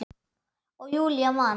Og Júlía man.